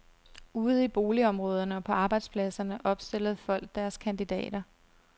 Ude i boligområderne og på arbejdspladserne opstillede folk deres kandidater.